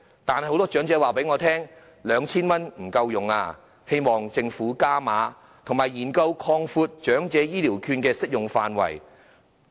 但是，很多長者告訴我 ，2,000 元並不足夠，希望政府加碼，以及研究擴闊長者醫療券的適用範圍。